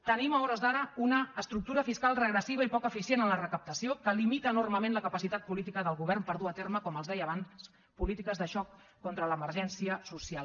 tenim a hores d’ara una estructura fiscal regressiva i poc eficient en la recaptació que limita enormement la capacitat política del govern per dur a terme com els deia abans polítiques de xoc contra l’emergència social